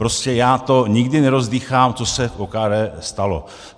Prostě já to nikdy nerozdýchám, co se v OKD stalo.